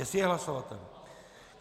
Jestli je hlasovatelný.